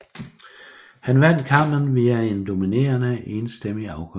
Han vandt kampen via en dominerende enstemmig afgørelse